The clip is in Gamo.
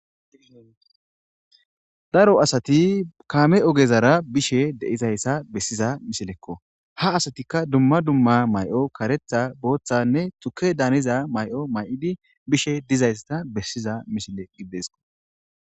daro asati kaame ogezara bishe deizayssa bessiza mishilekko ha asatikka dumma dumma may7o karetha booththanne xuke daaniza may7o may7idi bishe dizaysata bessiza mishile gidesko